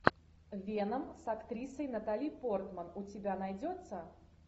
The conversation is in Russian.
веном с актрисой натали портман у тебя найдется